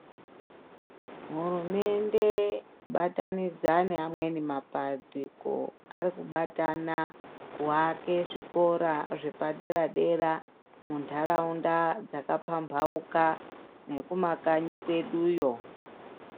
Hurumende kubatanidza neamweni mapandiko, ari kubatana kuake zvikora zvepadera-dera, muntaraunda dzakapambauka nekumakanyi kweduyo.